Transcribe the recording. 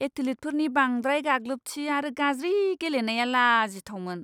एथलीटफोरनि बांद्राय गाग्लोबथि आरो गाज्रि गेलेनाया लाजिथावमोन!